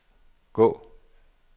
gå